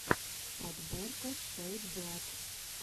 подборка шэйдзлат